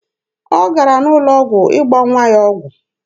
Ọ gara n'ụlọ ọgwụ ịgba nwa ya ọgwụ.